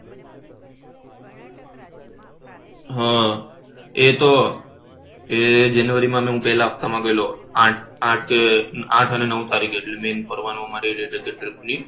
આહ એ તો એ જનવરી માં હું પહેલા હપ્તા માં ગયેલો આઠ આઠ કે નવ આઠ અને નવ તારીખે